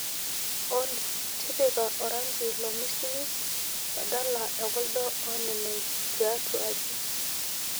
olly tipika orangi lormisil badala ekuldo ooneneng tiatwa aji